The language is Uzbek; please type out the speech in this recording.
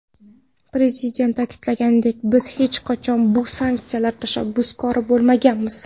Prezident ta’kidlaganidek, biz hech qachon bu sanksiyalar tashabbuskori bo‘lmaganmiz.